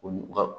Olu ka